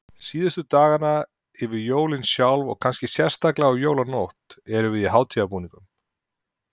Síðustu dagana, yfir jólin sjálf og kannski sérstaklega á jólanótt, erum við í hátíðarbúningunum.